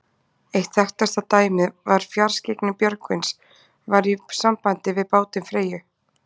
Eitt þekktasta dæmið um fjarskyggni Björgvins var í sambandi við bátinn Freyju.